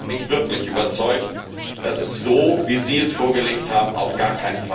Und die haben mich wirklich überzeugt, dass es so, wie Sie es vorgelegt haben, auf gar